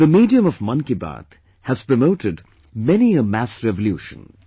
The medium of 'Mann Ki Baat' has promoted many a mass revolution